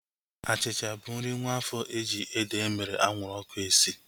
Achịcha bụ nri nwaafo eji ede emere anwụrụ ọkụ esi